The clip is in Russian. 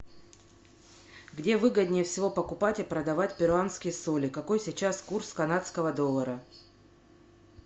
где выгоднее всего покупать и продавать перуанские соли какой сейчас курс канадского доллара